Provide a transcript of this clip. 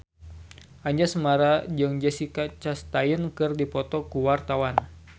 Anjasmara jeung Jessica Chastain keur dipoto ku wartawan